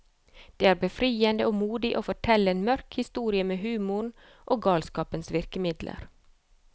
Det er befriende og modig å fortelle en mørk historie med humoren og galskapens virkemidler.